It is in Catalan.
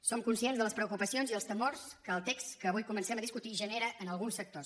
som conscients de les preocupacions i els temors que el text que avui comencem a discutir genera en alguns sectors